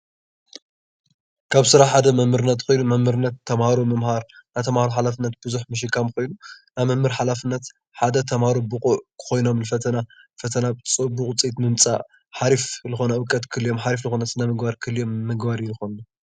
ካብ ስራሕ ሓደ መምህርነት ኾይኑ መምህርነት ተምሃሮ ምምሃር ናይ ተምሃሮ ሓላፍነት ብዙሕ ምሽካም ኾይኑ ናይ መምህር ሓላፍነት ሓደ ተምሃሮ ብቁዕ ኾይኖም ንፈተና ፈተና ፅቡቅ ውፅኢት ንምምፃእ ሓሪፍ ዝኾነ እውቀት ክህልዮም ሓሪፍ ዝኾነ ስነምግባር ክህልዮም ምግባር እዩ ዝኾን::